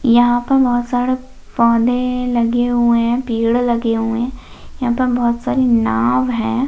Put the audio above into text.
यहाँ पर बहुत सारे पौधे लगे हुए है पेड़ लगे हुए है यहाँ पर बहुत सारी नाव है।